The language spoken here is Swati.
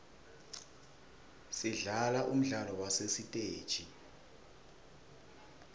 sidlala umdlalo wasesiteji